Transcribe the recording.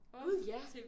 Gud ja!